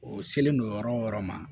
O selen don yɔrɔ o yɔrɔ ma